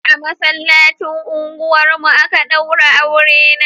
A masallacin unguwar mu a ka daure aure na